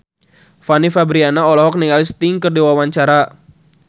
Fanny Fabriana olohok ningali Sting keur diwawancara